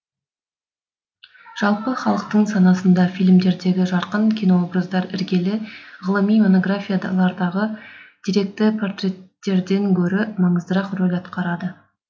жалпы халықтың санасында фильмдердегі жарқын кинообраздар іргелі ғылыми монографиялардағы деректі портреттерден гөрі маңыздырақ рөл атқарады